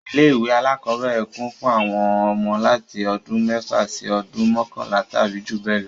Ilé ìwé alákọ́bẹ̀rẹ̀ kún fún àwọn ọmọ láti ọdún mẹ́fà sí ọdún mọkanla tàbí jù bẹ lọ